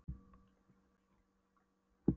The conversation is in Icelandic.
Þú ert bara með pínulitla lungnabólgu